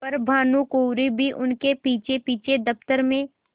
पर भानुकुँवरि भी उनके पीछेपीछे दफ्तर में